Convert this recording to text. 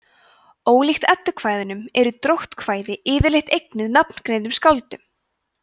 ólíkt eddukvæðum eru dróttkvæðin yfirleitt eignuð nafngreindum skáldum